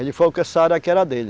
Ele falou que essa área aqui era dele.